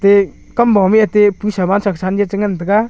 te Kamba ma e aate che ngan tega.